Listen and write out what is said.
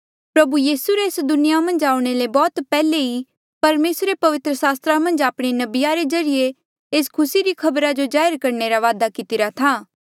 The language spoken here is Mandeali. प्रभु यीसू रे एस दुनिया मन्झ आऊणें ले बौह्त पैहले ई परमेसरे पवित्र सास्त्रा मन्झ आपणे नबिया रे ज्रीए एस खुसी री खबरा जो जाहिर करणे रा वादा कितिरा था